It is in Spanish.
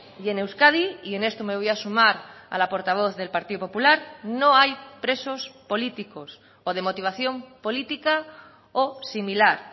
y en euskadi y en esto me voy a sumar a la portavoz del partido popular no hay presos políticos o de motivación política o similar